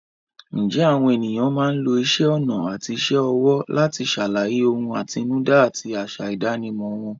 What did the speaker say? Ǹjẹ́ àwọn ènìyàn máa ń lo isẹ́ ọnà àti iṣẹ́ ọwọ́ láti ṣàlàyé ohun àtinúdá àti àṣà ìdánimọ̀ wọn?